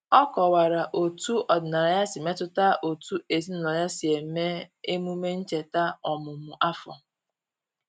O kọwara otu ọdịnala ya si metụta otú ezinụlọ ya si eme emume ncheta ọmụmụ afọ.